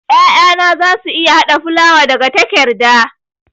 'Ya'yana za su iya hada fulawa daga takerda.